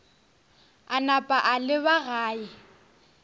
a napa a leba gae